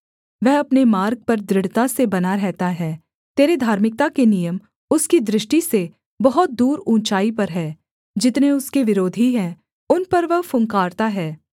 वह अपने मार्ग पर दृढ़ता से बना रहता है तेरे धार्मिकता के नियम उसकी दृष्टि से बहुत दूर ऊँचाई पर हैं जितने उसके विरोधी हैं उन पर वह फुँकारता है